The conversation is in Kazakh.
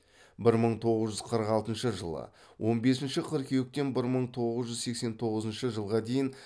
бір мың тоғыз жүз қырық алтыншы жылы он бесінші қыркүйектен бір мың тоғыз жүз сексен тоғызыншы жылға дейін